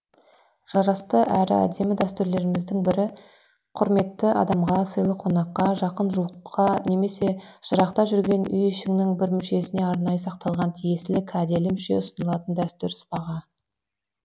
жарасты әрі әдемі дәстүрлеріміздің бірі құрметті адамға сыйлы қонаққа жақын жуыққа немесе жырақта жүрген үй ішінің бір мүшесіне арнайы сақталған тиесілі кәделі мүше ұсынылатын дәстүр сыбаға